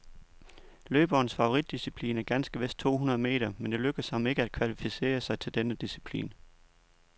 Løberens favoritdisciplin er ganske vist to hundrede meter, men det lykkedes ham ikke at kvalificere sig til denne disciplin.